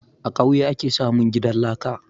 A kauye ake samun gidan laka